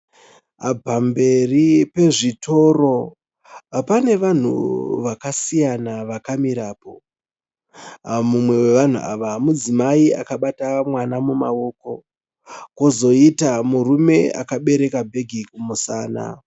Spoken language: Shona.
Pamberi pezvitoro pane vanhu vakasiyana vakamirapo, mumwe wevanhu ava mudzimai akabata mwana mumaoko. Kozoiita murume akabereka bheke kumusana.